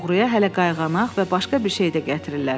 Oğruya hələ qayğanaq və başqa bir şey də gətirirlər.